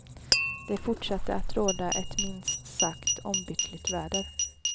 Det fortsatte att råda ett minst sagt ombytligt väder.